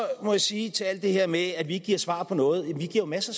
må jeg sige til alt det her med at vi ikke giver svar på noget at vi jo giver masser